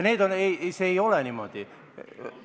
See ei ole niimoodi.